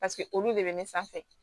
Paseke olu de bɛ ne sanfɛ